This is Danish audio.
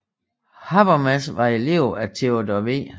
Habermas var elev af Theodor W